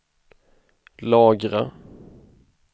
lagra